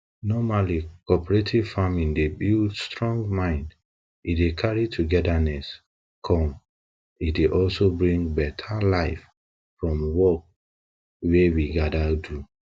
normally cooperate farming dey buld strong mind e dey carry togetherness come e dey also bring better life from work wey we gather do